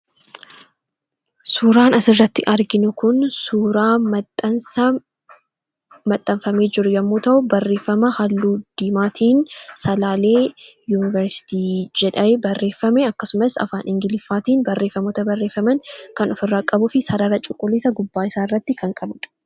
Suuraan asirratti arginu Kun suura manxansa maxanfamee jiru yoo ta'u barreeffama halluu diimatiin Salaalee Yuniversiitii jedhee barreeffame akkasumas afaan ingiliffatiin barreeffama barreeffamee jiruu fi halluu cuquliisa mataa isaarraa kan qabudha.